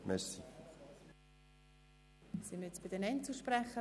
Es haben sich keine weiteren Fraktionen gemeldet.